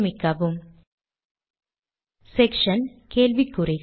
சேமிக்கவும் செக்ஷன் கேள்விக்குறிகள்